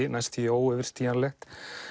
óyfirstíganlegt